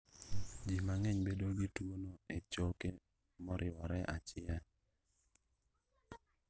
Ji mang'eny bedo gi tuo no e choke moriwore achiel